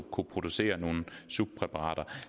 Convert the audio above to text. producere nogle subpræparater